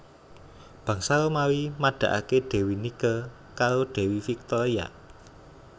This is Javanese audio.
Bangsa Romawi madakake Dewi Nike karo Dewi Victoria